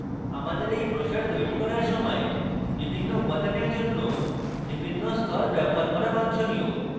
আমাদের এই ব্রোসার তৈরী করার সময় বিভিন্ন উপাদানের জন্য বিভিন্ন স্তর ব্যবহার করা বাঞ্ছনীয়